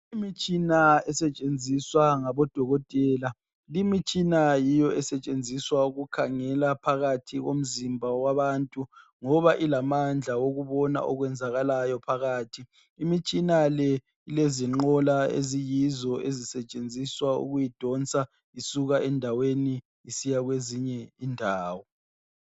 Imitshina esetshenziswa ngodokotela. Limitshina yiyo esetshenziswa ukukhangela phakathi komzimba womuntu ngoba ilamandla okubona okwenzakalayo phakathi. Imitshina le ilezinqola eziyizo ezisetshenziswa ukuyidonsa isuka endaweni isiya kwezinye izindawo.